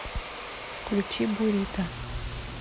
включи бурито